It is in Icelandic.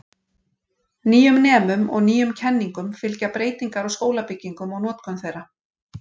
Nýjum nemum og nýjum kenningum fylgja breytingar á skólabyggingum og notkun þeirra.